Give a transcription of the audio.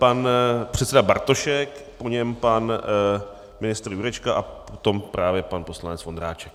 Pan předseda Bartošek, po něm pan ministr Jurečka a potom právě pan poslanec Vondráček.